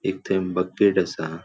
एक थंय बकेट असा.